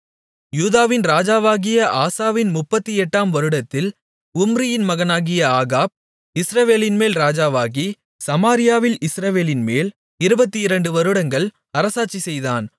யூதாவின் ராஜாவாகிய ஆசாவின் 38 ஆம் வருடத்தில் உம்ரியின் மகனாகிய ஆகாப் இஸ்ரவேலின்மேல் ராஜாவாகி சமாரியாவில் இஸ்ரவேலின்மேல் 22 வருடங்கள் அரசாட்சி செய்தான்